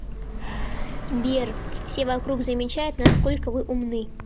сбер все вокруг замечают насколько вы умны